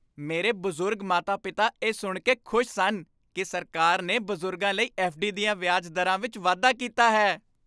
ਮੇਰੇ ਬਜ਼ੁਰਗ ਮਾਤਾ ਪਿਤਾ ਇਹ ਸੁਣ ਕੇ ਖੁਸ਼ ਸਨ ਕਿ ਸਰਕਾਰ ਨੇ ਬਜ਼ੁਰਗਾਂ ਲਈ ਐੱਫ.ਡੀ. ਦੀਆਂ ਵਿਆਜ ਦਰਾਂ ਵਿੱਚ ਵਾਧਾ ਕੀਤਾ ਹੈ